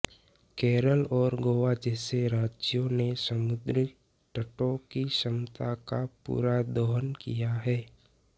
केरल और गोवा जैसे राज्यों ने समुद्र तटों की क्षमता का पूरा दोहन किया है